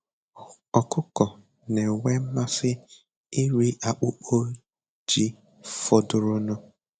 Ọkụkọ na-enwe mmasị iri akpụkpọ ji fọdụrụnụ.